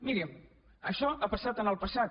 miri això ha passat en el passat